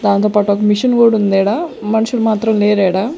దాంతో పాటు ఒక మిషన్ కూడుందీడ మనుషులు మాత్రం లేరీడా.